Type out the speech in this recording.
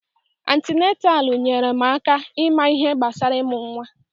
Antinataalu nyèrè m aka ịma ihe gbasara imụ nwa.